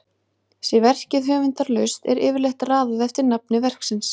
Sé verkið höfundarlaust er yfirleitt raðað eftir nafni verksins.